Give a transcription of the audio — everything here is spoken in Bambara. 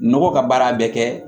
Nɔgɔ ka baara bɛɛ kɛ